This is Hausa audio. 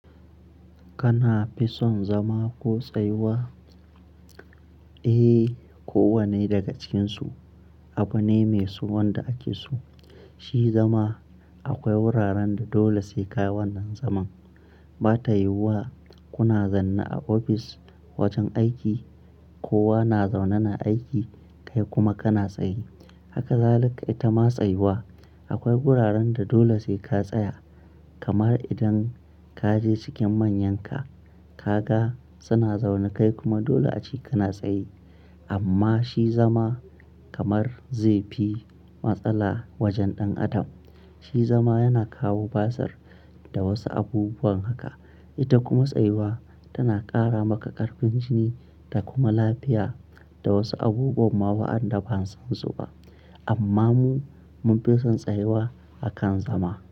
Kana fi son zama ko tsayuwa? Eh, kowanne daga cikin su. Abune mai so wanda ake so. Shi zama akwai wuraren da dole sai ka yi wannan zaman. Ba ta yiwuwa kuna zanna a ofis wajen aiki, kowa na zaune na aiki kai kuma kana tsaye. Haka zali ka ita ma tsayuwa. Akwai wuraren da dole sai ka tsaya. Kamar idan ka je cikin manyanka ka ga suna zaune kai kuma dole a ce kana tsaye. Amma shi zama kamar zai fi matsala wajen ɗan adam. Shi zama yana kawo basir da wasu abubuwan haka. Ita kuma tsayuwa tana ƙara maka ƙarfin jini da kuma lafiya da wasu abubuwan ma waɗanda ban san su ba. Amma mu mun fi son tsayuwa akan zama.